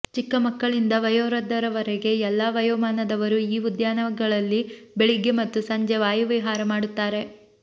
ಚಿಕ್ಕ ಮಕ್ಕಳಿಂದ ವಯೋವೃದ್ಧರವರೆಗೆ ಎಲ್ಲಾ ವಯೋಮಾನದವರು ಈ ಉದ್ಯಾನಗಳಲ್ಲಿ ಬೆಳಿಗ್ಗೆ ಮತ್ತು ಸಂಜೆ ವಾಯುವಿಹಾರ ಮಾಡುತ್ತಾರೆ